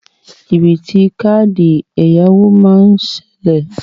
Jìbìtì káàdì ẹ̀yáwó má sí ṣẹlẹ.